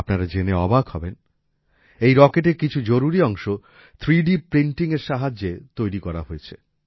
আপনারা জেনে অবাক হবেন এই রকেটের কিছু জরুরি অংশ 3D প্রিন্টিং এর সাহায্যে তৈরি হয়েছে